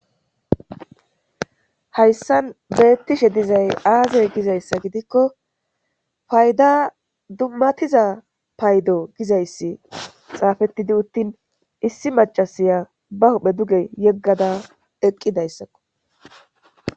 hayssan beettishe dizay aazey gizayssa gidikko fayda dummatiza paydo gizayssi xaafettidi uttin issi macasiya ba huhphe duge yeggada eqqidayssakko